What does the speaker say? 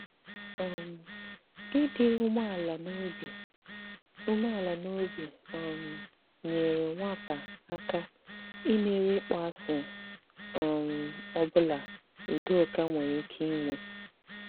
um Ị̀dị̀ umeala n'obi umeala n'obi um nyèrè nwàpà áká imèrí ịkpọasị um ọ bụla Udòkà nwèrè ike inwe.